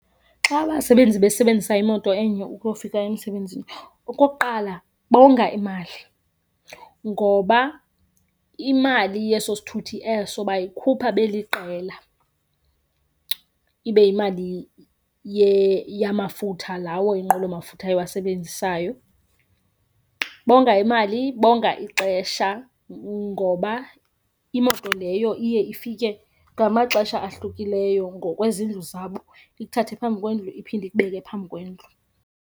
Xa abasebenzi besebenzisa imoto enye ukuyofika emisebenzini, okokuqala bonga imali ngoba imali yeso sithuthi eso bayikhupha beliqela ibe yimali yamafutha lawo inqwelomafutha iwasebenzisayo. Bonga imali, bonga ixesha ngoba imoto leyo iye ifike ngamaxesha ahlukileyo ngokwezindlu zabo, ikuthathe phambi kwendlu iphinde ikubeke phambi kwendlu.